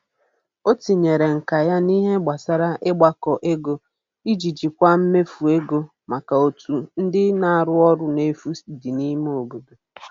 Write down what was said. O tinyere nka ya n'ihe gbasara ịgbakọ ego iji jikwaa mmefu ego maka otu ndị na-arụ ọrụ n'efu dị n'ime obodo.